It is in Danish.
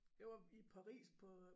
Jeg var i Paris på øh